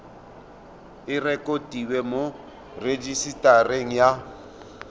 e rekotiwe mo rejisetareng ya